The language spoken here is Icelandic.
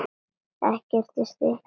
Ekki eitt stykki vel gert.